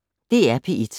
DR P1